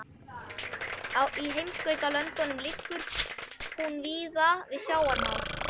Í heimskautalöndum liggur hún víða við sjávarmál.